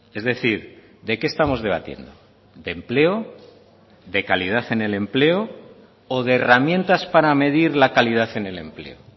es decir de qué estamos debatiendo de empleo de calidad en el empleo o de herramientas para medir la calidad en el empleo